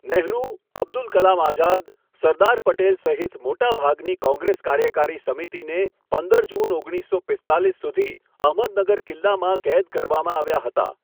નહેરુ, અબ્દુલ કલામ આઝાદ, સરદાર પટેલ સહિત મોટાભાગની કોંગ્રેસ કાર્યકારી સમિતિને પંદર જૂન ઓગણીસો પીસ્તાલીસ સુધી અહમદનગર કિલ્લામાં કેદ કરવામાં આવ્યા હતા.